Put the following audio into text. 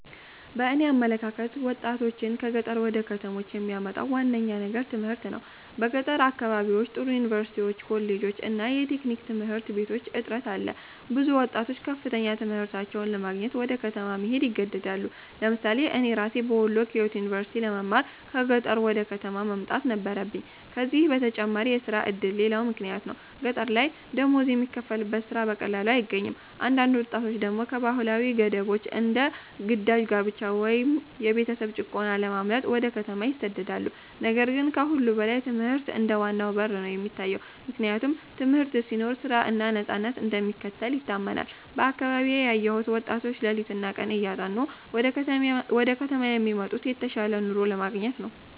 በእኔ አመለካከት ወጣቶችን ከገጠር ወደ ከተሞች የሚያመጣው ዋነኛው ነገር ትምህርት ነው። በገጠር አካባቢዎች ጥሩ ዩኒቨርሲቲዎች፣ ኮሌጆች እና የቴክኒክ ትምህርት ቤቶች እጥረት አለ። ብዙ ወጣቶች ከፍተኛ ትምህርታቸውን ለማግኘት ወደ ከተማ መሄድ ይገደዳሉ። ለምሳሌ እኔ ራሴ በወሎ ኪዮት ዩኒቨርሲቲ ለመማር ከቀጠሮዬ ወደ ከተማ መምጣት ነበረብኝ። ከዚህ በተጨማሪ የሥራ ዕድል ሌላው ምክንያት ነው፤ ገጠር ላይ ደሞዝ የሚከፈልበት ሥራ በቀላሉ አይገኝም። አንዳንድ ወጣቶች ደግሞ ከባህላዊ ገደቦች እንደ ግዳጅ ጋብቻ ወይም የቤተሰብ ጭቆና ለማምለጥ ወደ ከተማ ይሰደዳሉ። ነገር ግን ከሁሉ በላይ ትምህርት እንደ ዋናው በር ነው የሚታየው፤ ምክንያቱም ትምህርት ሲኖር ሥራ እና ነፃነት እንደሚከተል ይታመናል። በአካባቢዬ ያየሁት ወጣቶች ሌሊትና ቀን እያጠኑ ወደ ከተማ የሚመጡት የተሻለ ኑሮ ለማግኘት ነው።